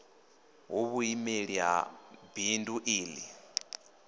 hu vhuimeli ha bindu ḽi